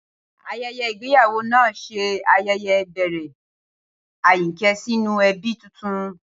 Ayẹyẹ ìgbéyàwó náà ṣe ayẹyẹ ìbẹ̀rẹ̀ Ayinke sínú ẹbí tuntun.